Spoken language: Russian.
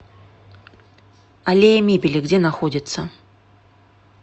аллея мебели где находится